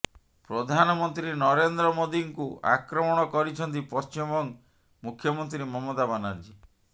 ପ୍ରଧାନମନ୍ତ୍ରୀ ନରେନ୍ଦ୍ର୍ର ମୋଦିଙ୍କୁ ଆକ୍ରମଣ କରିଛନ୍ତି ପଶ୍ଚିମବଙ୍ଗ ମୁଖ୍ୟମନ୍ତ୍ରୀ ମମତା ବାନର୍ଜୀ